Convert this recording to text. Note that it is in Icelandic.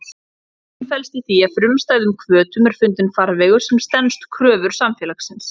Göfgun felst í því að frumstæðum hvötum er fundinn farvegur sem stenst kröfur samfélagsins.